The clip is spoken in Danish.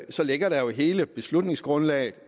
så ligger der jo hele beslutningsgrundlaget